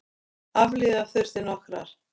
Aflífa þurfti nokkrar.